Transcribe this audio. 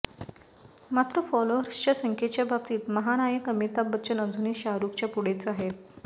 मात्र फॉलोअर्सच्या संख्येच्या बाबतीत महानायक अमिताभ बच्चन अजूनही शाहरुखच्या पुढेच आहे